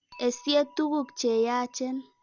Esye tukuk che yaachen.